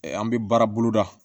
An bɛ baara boloda